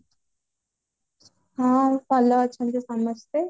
ହଁ ଭଲ ଅଛନ୍ତି ସମସ୍ତେ